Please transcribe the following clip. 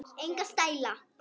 Enga stæla!